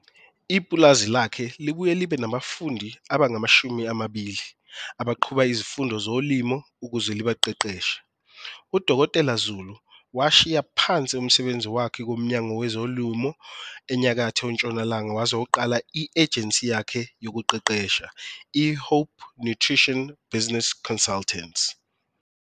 Ipulazi lakhe libuye libe nabafundi abangama-20 abaqhuba izifundo zolimo ukuze libaqeqeshe. U-Dkt Zulu washiya phansi umsebenzi wakhe kuMnyango Wezolimo eNyakatho Ntshonalanga wazoqala i-ejensi yakhe yekuqeqesha, i-Hope Nutrition Business Consultants.